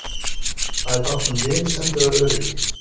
Það er tákn um vinsemd eða öryggi.